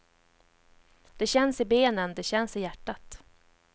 Det känns i benen, det känns i hjärtat.